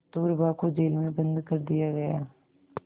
कस्तूरबा को जेल में बंद कर दिया गया